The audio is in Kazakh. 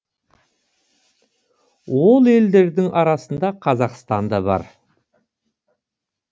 ол елдердің арасында қазақстан да бар